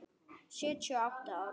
Sjötíu og átta ára.